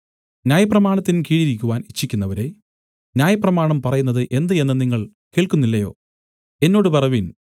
ന്യായപ്രമാണത്തിൻ കീഴിരിക്കുവാൻ ഇച്ഛിക്കുന്നവരേ ന്യായപ്രമാണം പറയുന്നത് എന്ത് എന്ന് നിങ്ങൾ കേൾക്കുന്നില്ലയോ എന്നോട് പറവിൻ